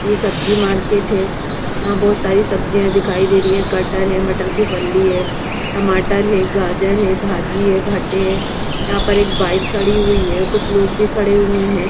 ये सब्जी मार्केट हैं यहाँ बहुत सारी सब्जियां दिखाई दे रही हैं कटर हैं मटर की पल्ली हैं टमाटर हैं गाजर हैं भाजी हैं भट्टे यहाँ पर एक बाईक खड़ी हुई हैं कुछ लोग भी खड़े हुए हैं ।